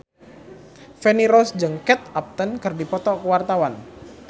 Feni Rose jeung Kate Upton keur dipoto ku wartawan